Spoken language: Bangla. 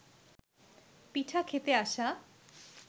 পিঠা খেতে আসা